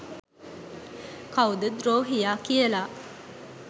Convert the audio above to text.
කව්ද ද්‍රෝහියා කියලා.